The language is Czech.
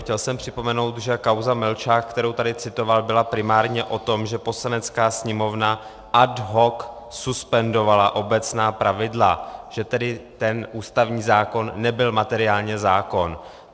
Chtěl jsem připomenout, že kauza Melčák, kterou tady citoval, byla primárně o tom, že Poslanecká sněmovna ad hoc suspendovala obecná pravidla, že tedy ten ústavní zákon nebyl materiálně zákon.